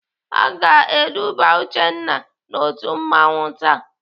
Aga eduba Uchenna n'otu mmanwụ taa.